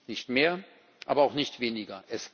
Nicht mehr, aber auch nicht weniger!